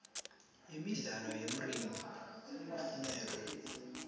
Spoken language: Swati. imidlalo yemridno iyafuneka